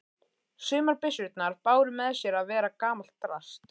Sumar byssurnar báru með sér að vera gamalt drasl.